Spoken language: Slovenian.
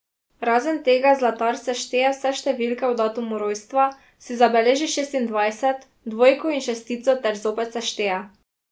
Razen tega zlatar sešteje vse številke v datumu rojstva, si zabeleži šestindvajset, dvojko in šestico ter zopet sešteje.